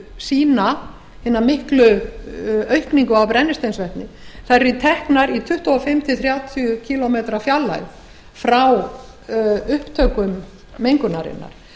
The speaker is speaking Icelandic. sýna hina miklu aukningu á brennisteinsvetni þær eru teknar í tuttugu og fimm til þrjátíu kílómetra fjarlægð frá upptökum mengunarinnar